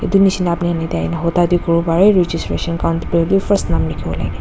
edu nishina apini khan yatae aina huta hudi kuriwo parae registration khan first nam likhi wolae.